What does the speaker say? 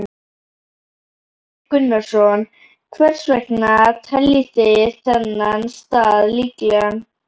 Gunnar Atli Gunnarsson: Hvers vegna teljið þið þennan stað líklegan?